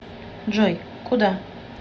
джой куда